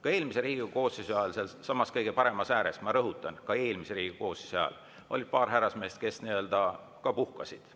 Ka eelmise Riigikogu koosseisu ajal sealsamas kõige paremas ääres – ma rõhutan, ka eelmise Riigikogu koosseisu ajal oli paar härrasmeest, kes nii-öelda puhkasid.